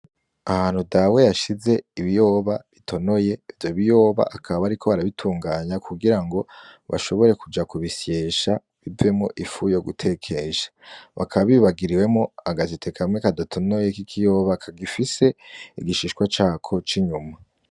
Ahantu dawe yashize ibiyoba bitonoye vyo biyoba akaba ari ko barabitunganya kugira ngo bashobore kuja ku bisyesha biwemo ifu yo gutekesha bakababibagiriwemo agasete kamwe kadatonoye k'ikiyoba kagifise igishishwa cako c'inyuma.